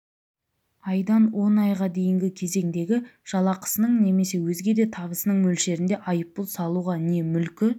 айдан он айға дейінгі кезеңдегі жалақысының немесе өзге де табысының мөлшерінде айыппұл салуға не мүлкі